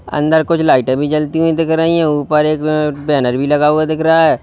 अंदर कुछ लाइटें भी जलती हुई दिख रही है ऊपर एक बैनर भी लगा हुआ दिख रहा है।